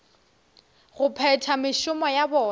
go phetha mešomo ya bona